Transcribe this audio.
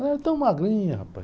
Ela era tão magrinha, rapaz.